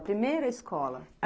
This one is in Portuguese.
A primeira escola?